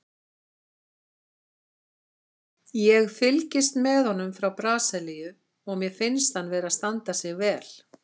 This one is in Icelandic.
Ég fylgist með honum frá Brasilíu og mér finnst hann vera að standa sig vel.